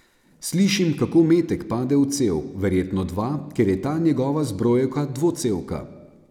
Slišim, kako metek pade v cev, verjetno dva, ker je ta njegova zbrojevka dvocevka.